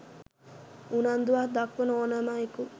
උනන්දුවක් දක්වන ඹ්නෑම අයකු